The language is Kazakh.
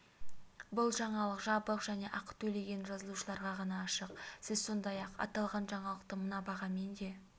бұл жаңалық жабық және ақы төлеген жазылушыларға ғана ашық сіз сондай-ақ аталған жаңалықты мына бағамен де